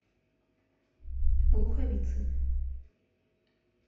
луховицы